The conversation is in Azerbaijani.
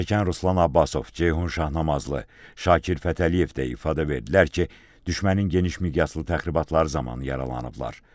Zərərçəkən Ruslan Abbasov, Ceyhun Şahnamazlı, Şakir Fətəliyev də ifadə verdilər ki, düşmənin geniş miqyaslı təxribatları zamanı yaralanıblar.